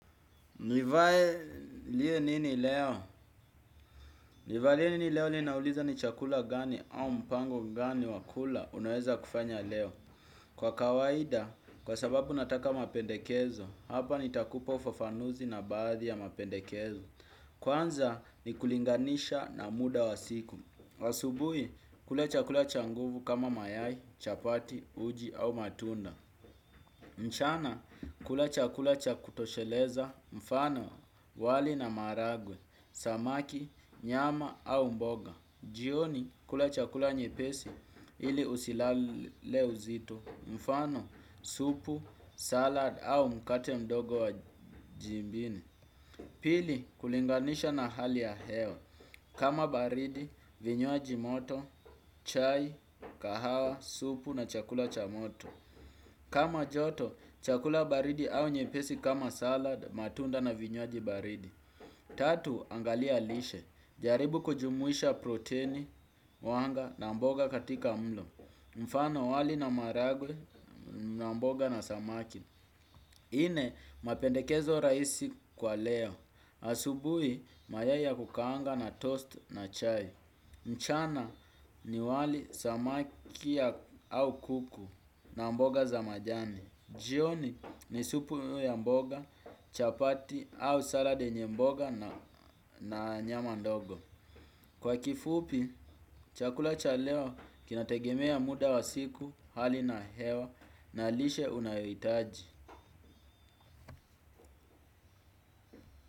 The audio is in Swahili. Nivae liye nini leo? Nivae nini leo ninauliza ni chakula gani au mpango gani wa kula unaweza kufanya leo. Kwa kawaida, kwa sababu nataka mapendekezo, hapa nitakupa ufafanuzi na baadhi ya mapendekezo. Kwanza ni kulinganisha na muda wa siku. Asubui, kula chakula cha nguvu kama mayai, chapati, uji au matunda. Mchana kula chakula cha kutosheleza mfano wali na maragwe, samaki, nyama au mboga. Jioni kula chakula nyepesi ili usilale uzito mfano supu, salad au mkate mdogo wa jibini. Pili kulinganisha na hali ya hewa. Kama baridi, vinywaji moto, chai, kahawa, supu na chakula cha moto. Kama joto, chakula baridi au nyepesi kama salad, matunda na vinywaji baridi. Tatu, angalia lishe. Jaribu kujumuisha proteini, wanga na mboga katika mlo. Mfano wali na maragwe na mboga na samaki. Nne, mapendekezo raisi kwa leo. Asubui, mayai ya kukaanga na toast na chai. Mchana ni wali samaki ya au kuku na mboga za majani. Jioni ni supu ya mboga, chapati au salad yenye mboga na nyama ndogo. Kwa kifupi, chakula cha leo kinategemea muda wa siku, hali na hewa na lishe unayohitaji.